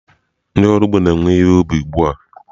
Ndị ọrụ ugbo na-ewe ihe ubi ugbu a.